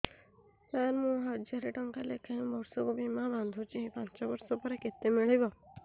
ସାର ମୁଁ ହଜାରେ ଟଂକା ଲେଖାଏଁ ବର୍ଷକୁ ବୀମା ବାଂଧୁଛି ପାଞ୍ଚ ବର୍ଷ ପରେ କେତେ ମିଳିବ